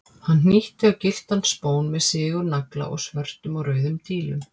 Hann hnýtti á gylltan spón með sigurnagla og svörtum og rauðum dílum.